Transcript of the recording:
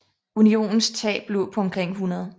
Unionens tab lå på omkring 100